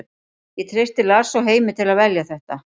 Ég treysti Lars og Heimi til að velja þetta.